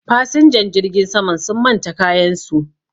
fasinjan jirgin saman sun manta kayansu